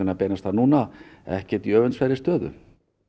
að beinast að núna ekkert í öfundsverðri stöðu